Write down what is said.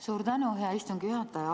Suur tänu, hea istungi juhataja!